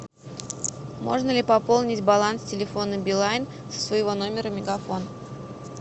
можно ли пополнить баланс телефона билайн со своего номера мегафон